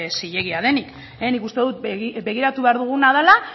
zilegia denik nik uste dut begiratu behar duguna dela